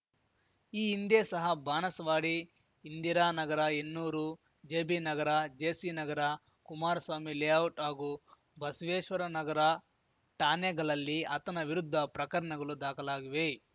ಈ ಹಿಂದೆ ಸಹ ಬಾಣಸ್ವಾಡಿ ಇಂದಿರಾನಗರ ಹೆನ್ನೂರು ಜೆಬಿನಗರ ಜೆಸಿನಗರ ಕುಮಾರಸ್ವಾಮಿ ಲೇಔಟ್‌ ಹಾಗೂ ಬಸವೇಶ್ವನಗರ ಠಾನೆಗಳಲ್ಲಿ ಆತನ ವಿರುದ್ಧ ಪ್ರಕರನಗಲು ದಾಖಲಾಗಿವೆ